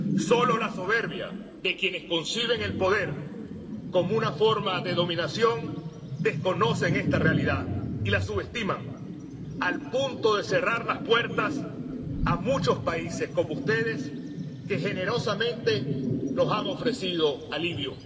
Solo la soberbia de quienes conciben el poder como una forma de dominación desconoce esta realidad y la subestima, hasta el punto de cerrar las puertas a muchos países como ustedes, que generosamente nos han ofrecido alivio.